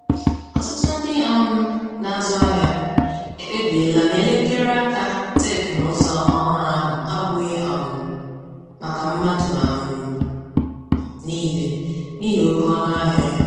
Ọtụtụ ndị um na-azụ ahịa ekpebiela na elekere aka teknụzụ ọhurụ ahụ abụghị um maka mmadụ um niile n'ihi oke ọnụahịa ya.